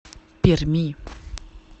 перми